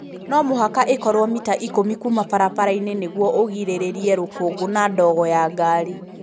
No mũhaka ĩkorwo mita ikũmi kuuma barabara-inĩ nĩguo ũgirĩrĩrie rũkũngũ na ndogo ya ngari.